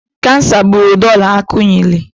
Kansa gburu Dora Akunyili.